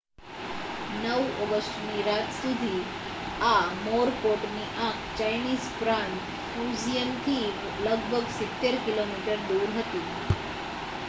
9 ઑગસ્ટની રાત સુધી, આ મોરકોટની આંખ ચાઇનીઝ પ્રાંત ફુજિયનથી લગભગ સિત્તેર કિલોમીટર દૂર હતી